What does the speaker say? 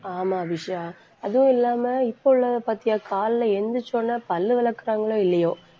ஆமா அபிஷா அதுவும் இல்லாம இப்ப உள்ளதைப் பாத்தியா காலையில எழுந்திரிச்ச உடனே பல்லு விளக்குறாங்களோ இல்லையோ